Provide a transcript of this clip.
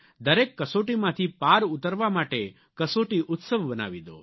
દરેક કસોટીમાંથી પાર ઉતરવા માટે કસોટી ઉત્સવ બનાવી દો